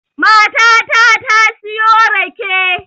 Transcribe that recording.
Matata ta siyo rake